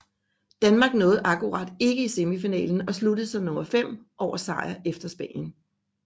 Danmark nåede akkurat ikke i semifinalen og sluttede som nummer 5 efter sejr over Spanien